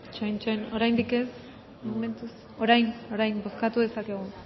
itxoin oraindik ez momentuz orain bozkatu dezakegu bozkatu dezakegu